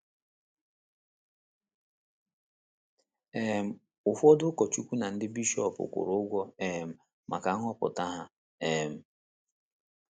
um Ụfọdụ ndị ụkọchukwu na ndị bishọp kwụrụ ụgwọ um maka nhọpụta ha um.